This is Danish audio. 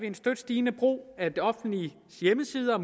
en støt stigende brug af det offentliges hjemmesider og